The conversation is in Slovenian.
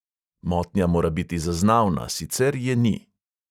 Motnja mora biti zaznavna, sicer je ni.